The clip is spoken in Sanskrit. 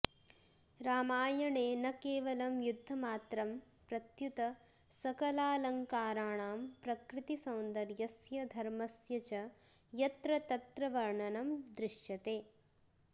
रामायणे न केवलं युद्धमात्रं प्रत्युत सकलालङ्काराणां प्रकृतिसौन्दर्यस्य धर्मस्य च यत्र तत्र वर्णनं दृश्यते